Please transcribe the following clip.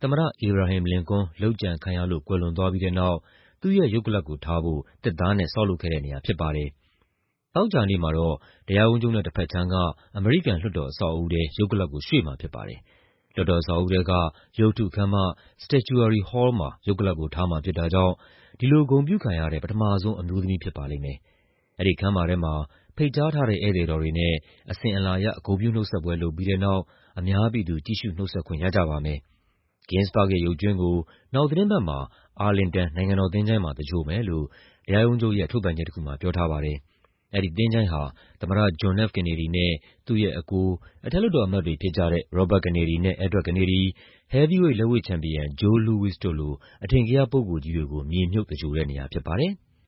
သမ္မတ အေဘရာဟင်မ် လင်ကွန်း လုပ်ကြံခံရလို့ ကွယ်လွန်သွားပြီးတဲ့နောက် သူ့ရဲ့ရုပ်ကလပ်ကိုထားဖို့ သစ်သားနဲ့ ဆောက်လုပ်ခဲ့တဲ့နေရာဖြစ်ပါတယ်။ သောကြာနေ့မှာတော့ တရားရုံးချုပ်နဲ့ တဘက်ခြမ်းက အမေရိကန် လွှတ်တော်အဆောက်အဦးထဲ ရုပ်ကလပ်ကို ရွှေ့မှာဖြစ်ပါတယ်။ လွှတ်တော်အဆောက်အဦးထဲက ရုပ်တုခန်းမ Statuary Hall မှာ ရုပ်ကလပ်ကို ထားမှာဖြစ်တာကြောင့် ဒီလိုဂုဏ်ပြုခံရတဲ့ ပထမဆုံး အမျိုးသမီးဖြစ်ပါလိမ့်မယ်။ အဲဒီခန်းမထဲမှာ ဖိတ်ကြားထားတဲ့ ဧည့်သည်တော်တွေနဲ့ အစဉ်အလာ ဂုဏ်ပြုနှုတ်ဆက်ပွဲ လုပ်ပြီးတဲ့နောက် အများပြည်သူ ကြည့်ရှုနှုတ်ဆက်ခွင့် ရကြပါမယ်။ Ginsburg ရဲ့ ရုပ်ကြွင်းကို နောက်သီတင်းပတ်မှာ အာလင်တန် နိုင်ငံတော် သချို ၤင်းမှာ သဂြို ၤဟ်မယ်လို့ တရားရုံးချုပ်ရဲ့ ထုတ်ပြန်ချက်တခုမှာ ပြောထားပါတယ်။ အဲဒီသချို ၤင်းဟာ သမ္မတ John F. Kennedy နဲ့ သူ့ရဲ့အကို အထက်လွှတ်တော်အမတ်တွေဖြစ်ကြတဲ့ Robert Kennedy နဲ့ Edward Kennedy၊ ဟဲဗီးဝိတ် လက်ဝှေ့ချန်ပီယံ Joe Louis တို့လို အထင်ကရပုဂ္ဂိုလ်ကြီးတွေကို မြေမြှုပ်သဂြိ ၤုဟ်တဲ့နေရာဖြစ်ပါတယ်။